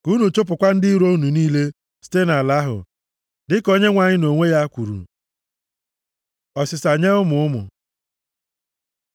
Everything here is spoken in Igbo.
Ka unu chụpụkwa ndị iro unu niile site nʼala ahụ, dịka Onyenwe anyị nʼonwe ya kwuru. Ọsịsa nye ụmụ ụmụ